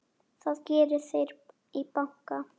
Það geri þeir í banka.